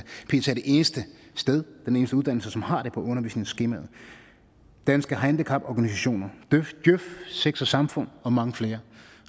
eneste uddannelse som har det på undervisningsskemaet danske handicaporganisationer djøf sex og samfund og mange flere